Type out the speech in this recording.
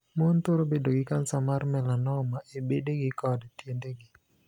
Mon thoro bet gi kansa mar 'melanoma' e bedegi kod tiendegi.